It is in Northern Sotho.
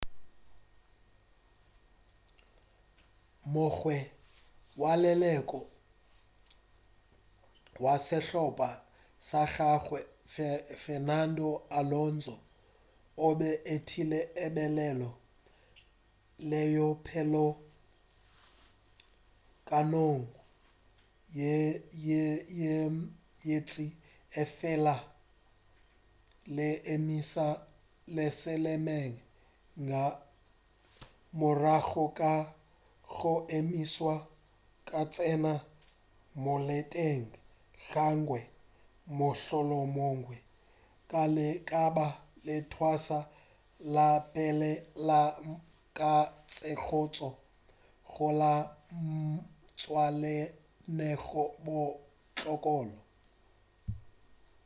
o mongwe wa leloko la sehlopa sa gagawe fernando alonso o be a etile lebelo leo pele nakong ye ntši efela a le emiša lesemeetseng ka morago ga go emišwa ke go tsena ka moleteng ga gagwe mohlomongwe ka lebaka la leotwana la pele la ka letsogong la go ja leo le swametšego ga bohloko